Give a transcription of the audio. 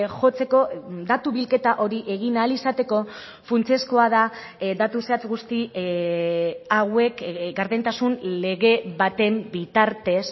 jotzeko datu bilketa hori egin ahal izateko funtsezkoa da datu zehatz guzti hauek gardentasun lege baten bitartez